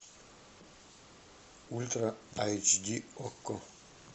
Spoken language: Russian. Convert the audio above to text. ультра айч ди окко